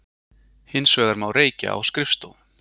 Hins vegar má reykja á skrifstofum